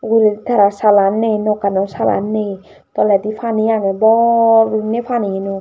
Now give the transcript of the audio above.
uguredi tarar salan nei nokano salan nei toledi pani agey bor guriney panieno.